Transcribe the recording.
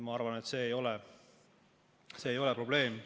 Ma arvan, et see ei ole probleem.